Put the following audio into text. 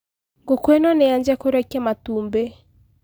Ngũkũ ino nĩyanjia kũrekia matumbĩ.